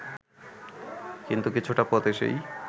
কিন্তু কিছুটা পথ এসেই